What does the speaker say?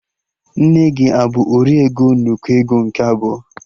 Nne gị abụ 'ori ego n'ụkọ ego nke abụọ'?